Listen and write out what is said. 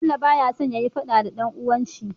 Bello baya son yayi faɗa da dan uwan shi